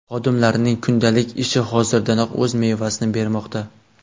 xodimlarining kundalik ishi hozirdanoq o‘z mevasini bermoqda.